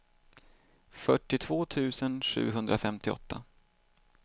fyrtiotvå tusen sjuhundrafemtioåtta